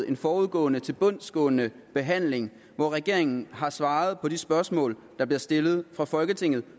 en forudgående tilbundsgående behandling hvor regeringen har svaret på de spørgsmål der bliver stillet fra folketinget